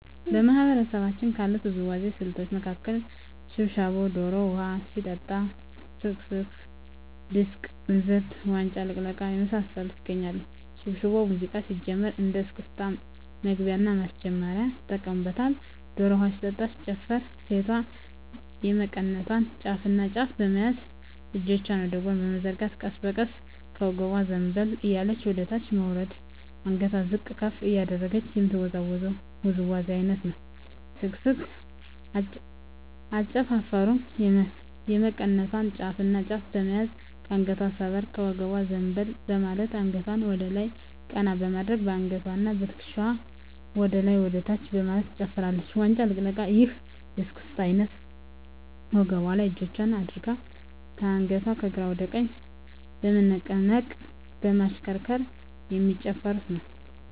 በማህበረሰባችን ካሉት የውዝዋዜ ስልቶች መካከል ሽብሻቦ ዶሮ ውሀ ሲጠጣ ስክስክ ድስቅ እንዝርት ዋንጫ ልቅለቃ የመሳሰሉት ይገኛሉ። ሽብሻቦ ሙዚቃው ሲጀምር እንደ እስክስታ መግቢያና ማስጀመሪያ ይጠቀሙበታል። ዶሮ ውሀ ሲጠጣ ሲጨፈርም ሴቷ የመቀነቷን ጫፍና ጫፍ በመያዝ እጆቿን ወደ ጎን በመዘርጋት ቀስ በቀስ ከወገቧ ዘንበል እያለች ወደታች በመውረድ አንገቷን ዝቅ ከፍ እያደረገች የምትወዛወዘው ውዝዋዜ አይነት ነው። ስክስክ አጨፋፈሩም የመቀነቷን ጫፍና ጫፍ በመያዝ ከአንገቷ ሰበር ከወገቧ ዘንበል በማለት አንገቷን ወደላይ ቀና በማድረግ በአንገትዋና በትክሻዋ ወደላይና ወደታች በማለት ትጨፍራለች። ዋንጫ ልቅለቃ ይህ የእስክስታ አይነት ወገቧ ላይ እጆቿን አድርጋ አንገቷን ከግራ ወደ ቀኝ በመነቅነቅ በማሽከርከር የሚጨፍሩት ነው።